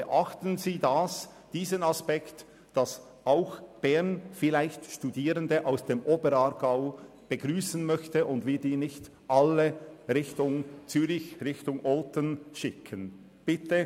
Beachten Sie aber den Aspekt, dass auch Bern vielleicht Studierende aus dem Oberaargau begrüssen möchte und wir diese nicht alle Richtung Zürich oder Olten schicken wollen.